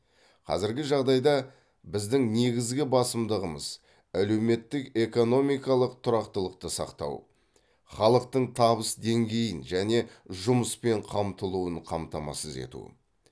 қазіргі жағдайда біздің негізгі басымдығымыз әлеуметтік экономикалық тұрақтылықты сақтау халықтың табыс деңгейін және жұмыспен қамтылуын қамтамасыз ету